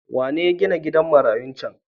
Wane ya ginan gidan marayun cen?